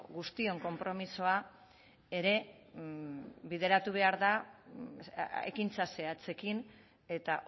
guztion konpromisoa ere bideratu behar da ekintza zehatzekin eta